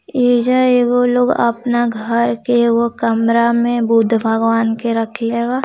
ये लोग अपने घर के कमरे में बुद्ध भगवान को रखे हैं |